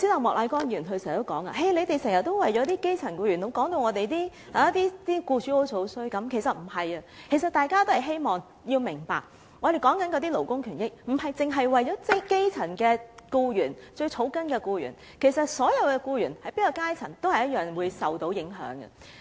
莫乃光議員剛才說，我們經常為了基層僱員，把僱主說得很差，其實不是的，希望大家明白，我們說的勞工權益，不僅是為了基層僱員、最草根的僱員，其實所有僱員，無論是在哪個階層，也是會受到影響的。